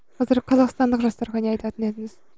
қазір қазақстандық жастарға не айтатын едіңіз